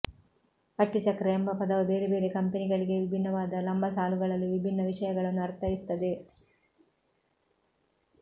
ಪಟ್ಟಿ ಚಕ್ರ ಎಂಬ ಪದವು ಬೇರೆ ಬೇರೆ ಕಂಪೆನಿಗಳಿಗೆ ವಿಭಿನ್ನವಾದ ಲಂಬಸಾಲುಗಳಲ್ಲಿ ವಿಭಿನ್ನ ವಿಷಯಗಳನ್ನು ಅರ್ಥೈಸುತ್ತದೆ